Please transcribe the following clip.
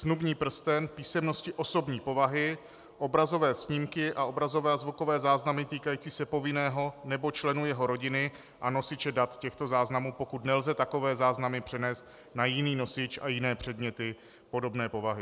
Snubní prsten, písemnosti osobní povahy, obrazové snímky a obrazové a zvukové záznamy týkající se povinného nebo členů jeho rodiny a nosiče dat těchto záznamů, pokud nelze takové záznamy přenést na jiný nosič, a jiné předměty podobné povahy.